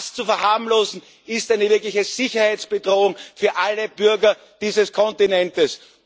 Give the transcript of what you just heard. Das zu verharmlosen, ist eine wirkliche Sicherheitsbedrohung für alle Bürger dieses Kontinents.